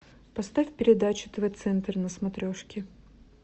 поставь передачу тв центр на смотрешке